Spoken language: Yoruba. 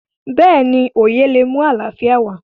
béèni oyè lé mú àlàfíà wá